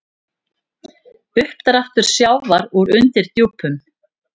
Uppdráttur sjávar úr undirdjúpum